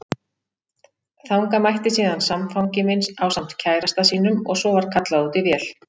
Þangað mætti síðan samfangi minn ásamt kærasta sínum og svo var kallað út í vél.